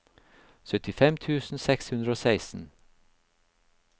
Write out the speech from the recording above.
syttifem tusen seks hundre og seksten